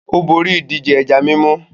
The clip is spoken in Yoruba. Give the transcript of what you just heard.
Ó borí ìdíje ẹja mímú.